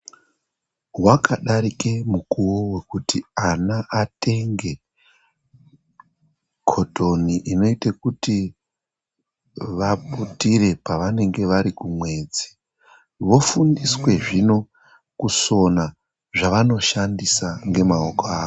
Wakadarike mukuwo wokuti ana atenge kotoni inoyite kuti vaputire pavanenge vari kumwedzi, vofundiswe zvino kusona zvavanoshandisa ngemaoko avo.